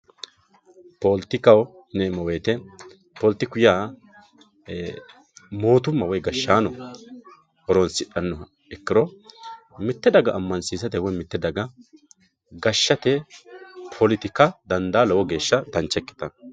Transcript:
Poletikkaho yineemmo woyte poletiku yaa mootumma woyi gashshaano horonsidhanoha ikkiro mite daga amansiisate woyi gashshate poletikka dandaa lowo geeshsha dancha ikkittano.